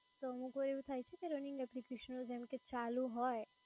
કે અમુક વાર એવું થાય છે કે running application જેમકે ચાલુ હોય